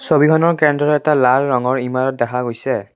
ছবিখনৰ কেন্দ্ৰত এটা লাল ৰঙৰ ইমাৰত দেখা গৈছে।